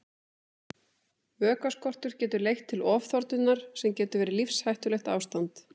Vökvaskortur getur leitt til ofþornunar sem getur verið lífshættulegt ástand.